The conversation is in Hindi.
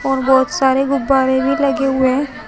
और बहुत सारे गुब्बारे भी लगे हुए हैं।